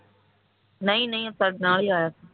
ਨਹੀਂ ਨਹੀਂ ਉਹ ਸਾਡੇ ਨਾਲ ਹੀ ਆਇਆ ਸੀ